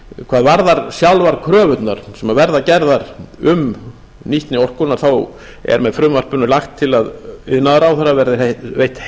hvað varðar sjálfar kröfurnar sem verða gerðar um nýtni orkunnar er með frumvarpinu lagt til að iðnaðarráðherra verði veitt